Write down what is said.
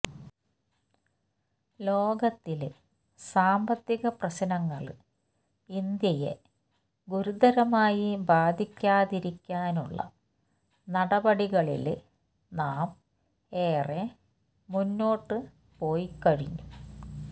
ലോകത്തിലെ സാമ്പത്തിക പ്രശ്നങ്ങള് ഇന്ത്യയെ ഗുരുതരമായി ബാധിക്കാതിരിക്കാനുള്ള നടപടികളില് നാം ഏറെ മുന്നോട്ട് പോയിക്കഴിഞ്ഞു